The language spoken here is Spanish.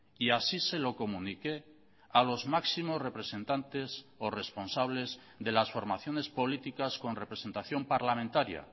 y así se lo comuniqué a los máximos representantes o responsables de las formaciones políticas con representación parlamentaria